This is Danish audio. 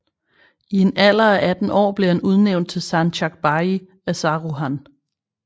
I en alder af 18 år blev han udnævnt til sancakbeyi af Saruhan